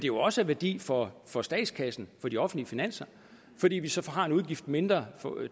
jo også af værdi for for statskassen for de offentlige finanser fordi vi så har en udgift mindre